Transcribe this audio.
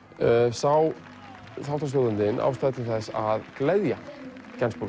sá þáttastjórnandinn ástæður til að gleðja